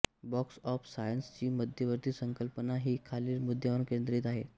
box of science ची मध्यवर्ती संकल्पना ही खालील मुद्द्यांवर केंद्रित आहे